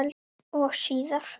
Og síðar.